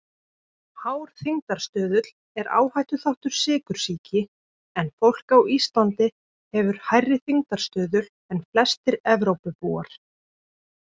Hár þyngdarstuðull er áhættuþáttur sykursýki en fólk á Íslandi hefur hærri þyngdarstuðul en flestir Evrópubúar.